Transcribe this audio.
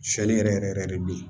Sɛli yɛrɛ yɛrɛ yɛrɛ de bɛ yen